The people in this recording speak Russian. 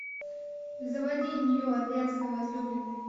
заводи нью орлеанская возлюбленная